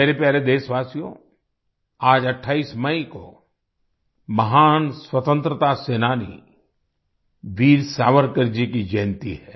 मेरे प्यारे देशवासियो आज 28 मई को महान स्वतंत्रता सेनानी वीर सावरकर जी की जयंती है